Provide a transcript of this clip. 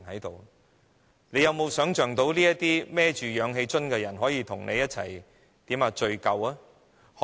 大家能否想到這些背着氧氣瓶的人可以與你一起聚舊呢？